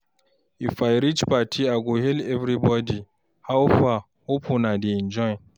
If I reach party, I go hail everybody, "How far? Hope una dey enjoy!"